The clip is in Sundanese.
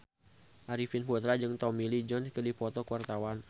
Arifin Putra jeung Tommy Lee Jones keur dipoto ku wartawan